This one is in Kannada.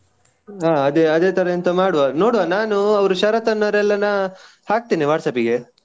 ಅದೇ ಅದೇ ತರ ಎಂತವ ಮಾಡ್ವ. ನೋಡ್ವ ನಾನು ಅವ್ರು ಶರತ್ ಅವರನ್ನು ಎಲ್ಲರನ್ನು ನಾ ಹಾಕ್ತೀನಿ WhatsApp ಗೆ.